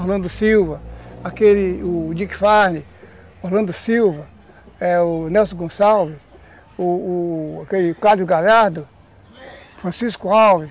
Orlando Silva, aquele o Dick Farney, Orlando Silva, o Nelson Gonçalves, o o Galhardo, Francisco Alves.